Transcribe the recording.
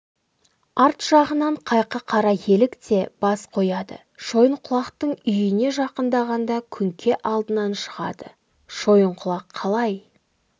арт жағынан қайқы қара елік те бас қояды шойынқұлақтың үйіне жақындағанда күңке алдынан шығады шойынқұлақ қалай